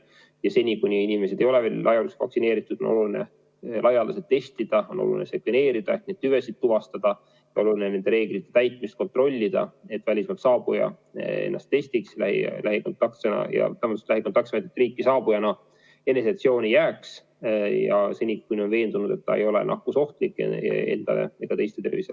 Ja seni, kuni inimesed ei ole veel laialdaselt vaktsineeritud, on oluline laialdaselt testida, on oluline sekveneerida, et neid tüvesid tuvastada, on oluline nende reeglite täitmist kontrollida, et välismaalt saabuja ennast testiks ja riiki saabujana eneseisolatsiooni jääks, seni kuni ta on veendunud, et ta ei ole nakkusohtlik ega ohusta teiste tervist.